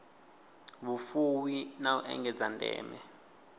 vhufuwi na u engedza ndeme